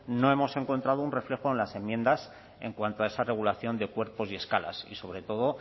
no hemos encontrado un reflejo en las enmiendas en cuanto a esa regulación de cuerpos y escalas y sobre todo